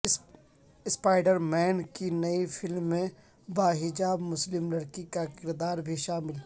spider Man کی نئی film میں باحجاب مسلم لڑکی کا کردار بھی شامل